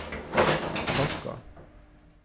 Bakka